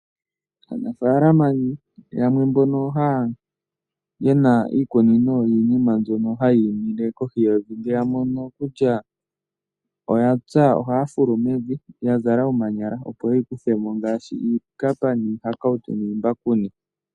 Aanafaalama yamwe mbono yena iikunino yiinima mbyono imile kohi yevi, ngele yamono kutya oya pya ohaya fulu mevi , yazala omanyala opo yeyi kuthemo ngaashi iikapa, iihakautu niimbakuni.